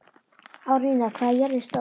Árnína, hvað er jörðin stór?